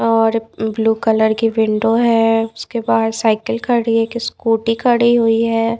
और blue colour की window है उसके बाहर साइकिल खड़ी है की स्कूटी खड़ी हुई है।